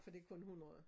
For det kun 100